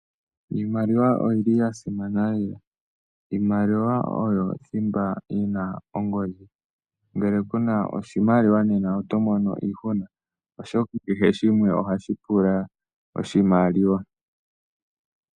Iimaliwa oya simana , oshoka oyo thimba yiina ongodhi ngele kuna oshimaliwa oho kala tomono iihuna oshoka kehe shimwe ohashi pula oshimaliwa.